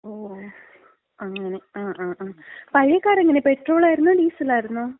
ഓ. അങ്ങനെ, ങാ, ങാ, ങാ, പഴയ കാറെങ്ങനെ? പെട്രോളായിരുന്നോ, ഡീസലായിരുന്നോ?